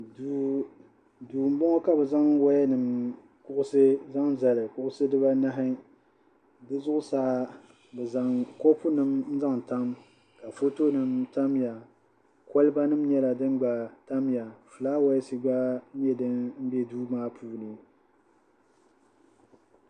Duu m-bɔŋɔ ka bɛ zaŋ wayanima kuɣusi n-zaŋ zali di dibahi di zuɣusaa bɛ zaŋ kopunima n-zaŋ tam ka fotonima tamya kolibanima nyɛla din gba tamya fulaawaasi gba nyɛ din be duu maa puuni